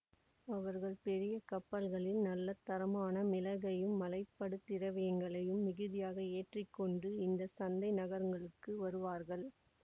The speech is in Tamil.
அவர்கள் பெரிய கப்பல்களில் நல்ல தரமான மிளகையும் மலைபடு திரவியங்களையும் மிகுதியாக ஏற்றி கொண்டு இந்த சந்தை நகரங்களுக்கு வருவார்கள்